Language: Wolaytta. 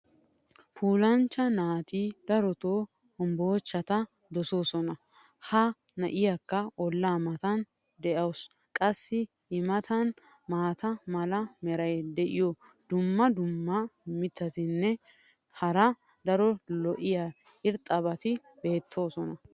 puulanchcha naati dorotoo hombbocettaa dosoosona. ha na'iyaakka olaa matan dawusu. qassi i matan maata mala meray diyo dumma dumma mitatinne hara daro lo'iya irxxabati beetoosona.